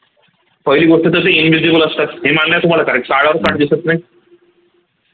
पहिली गोष्ट तर ते invisible असतात दिसत नाही